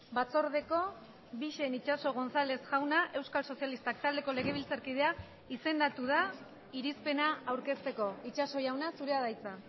batzordeko bixen itxaso gonzález jauna euskal sozialistak taldeko legebiltzarkidea izendatu da irizpena aurkezteko itxaso jauna zurea da hitza